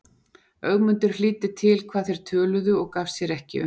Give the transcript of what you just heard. Ögmundur hlýddi til hvað þeir töluðu og gaf sér ekki um.